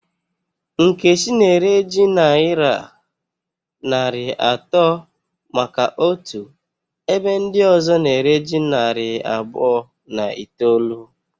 Nkechi na ere ji nayira narị atọ maka otu ebe ndị ọzọ na ere ji narị abụọ na itoolu